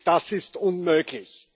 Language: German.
Das ist unmöglich!